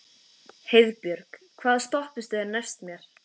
Heiðbjörg, hvaða stoppistöð er næst mér?